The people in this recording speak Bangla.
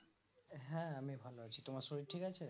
হ্যাঁ আমি ভালো আছি তোমার শরীর ঠিক আছে